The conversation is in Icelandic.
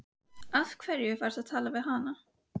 Af hverju varstu að tala við hana?